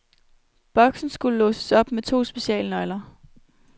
Boksen skulle låses op med to specialnøgler.